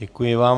Děkuji vám.